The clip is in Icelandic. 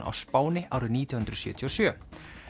á Spáni árið nítján hundruð sjötíu og sjö